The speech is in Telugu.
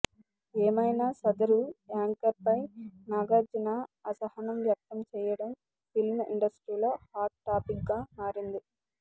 ఏమైనా సదరు యాంకర్పై నాగార్జున అసహనం వ్యక్తం చేయడం ఫిల్మ్ ఇండస్ట్రీలో హాట్ టాపిక్గా మారింది